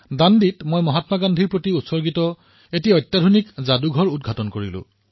দাণ্ডীত মই মহাত্মা গান্ধীৰ প্ৰতি সমৰ্পিত এক অতি আধুনিক সংগ্ৰহালয়ৰ উদঘাটন কৰিলো